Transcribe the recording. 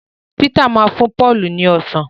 Peter má fún Paul ni ọsán